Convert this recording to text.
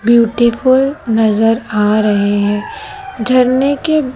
beautiful नजर आ रहे हैं झरने के--